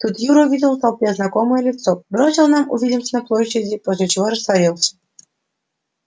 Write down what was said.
тут юра увидел в толпе знакомое лицо бросил нам увидимся на площади после чего растворился